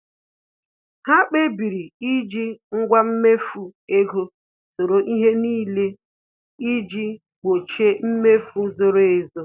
Ha kpebiri iji ngwa mmefu ego soro ihe n'ile iji gbochie mmefu zoro ezo